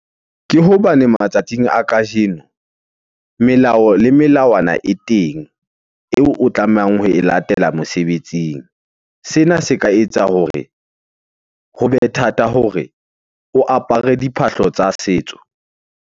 Ke hobane matsatsing a kajeno melao le melawana e teng eo o tlamehang ho e latela mosebetsing. Sena se ka etsa hore hobe thata hore o apare diphahlo tsa setso.